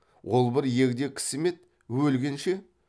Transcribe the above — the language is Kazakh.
ол бір егде кісі ме еді өлгенше